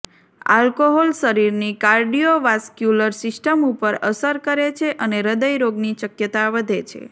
alcohol શરીરની cardiovascular system ઉપર અસર કરે છે અને હૃદયરોગની શક્યતા વધે છે